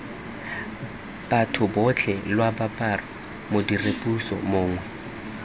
batho botlhe lwaboraro modiredipuso mongwe